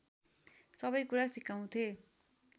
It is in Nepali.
सबैकुरा सिकाउँथे